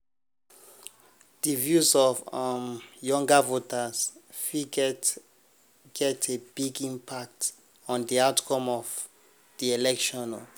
di views of younger voters fit get get a big impact on di outcome of di election.